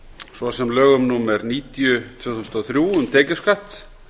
svo sem lögum númer níutíu tvö þúsund og þrjú um tekjuskatt